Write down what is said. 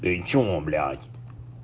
ты что блядь